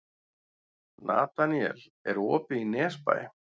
Nataníel, er opið í Nesbæ?